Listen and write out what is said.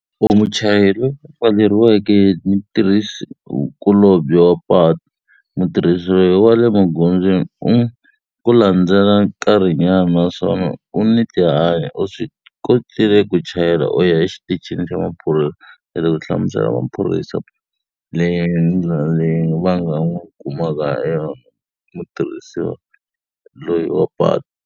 U muchayeri loyi a pfaleriweke hi mutirhisikulobye wa patu, mutirhisi loyi wa le magondzweni u ku landzela nkarhinyana naswona u ni tihanyi. U swi kotile ku chayela u ya exitichini xa maphorisa . U hlamusela maphorisa leyi ndlela leyi va nga n'wi kumaka ha yona mutirhisiwa loyi wa patu.